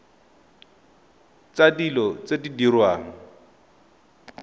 tsa dilo tse di diriwang